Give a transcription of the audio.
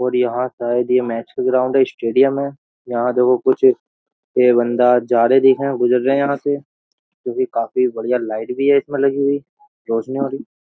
और यहां शायद ये मैच का ग्राउंड है स्टेडियम है यहां देखो कुछ ये बंदा जा रहे गुजर रहे हैं यहां से जो कि काफी बढ़िया लाइट भी है इसमें लगी हुई रोशनी --